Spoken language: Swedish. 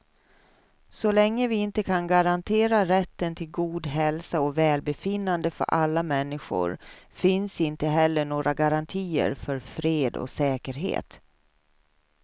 Så länge vi inte kan garantera rätten till god hälsa och välbefinnande för alla människor finns inte heller några garantier för fred och säkerhet.